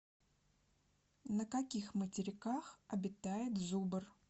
на каких материках обитает зубр